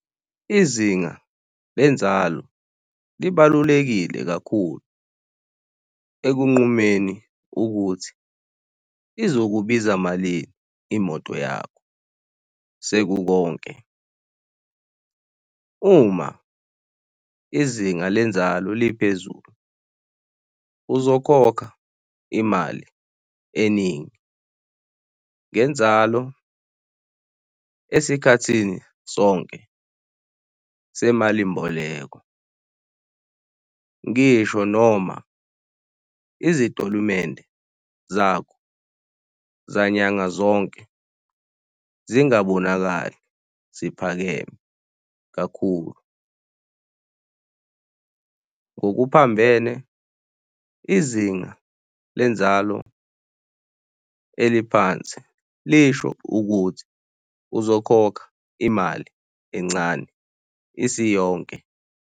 Izinga lenzalo libalulekile kakhulu ekunqumeni ukuthi izokubiza malini imoto yakho sekukonke. Uma izinga lenzalo liphezulu, uzokhokha imali eningi. Ngenzalo, esikhathini sonke semalimboleko ngisho noma izitolimente zakho zanyanga zonke zingabonakali, ziphakeme kakhulu. Ngokuphambene, izinga lenzalo eliphansi lisho ukuthi uzokhokha imali encane isiyonke.